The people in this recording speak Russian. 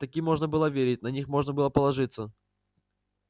таким можно было верить на них можно было положиться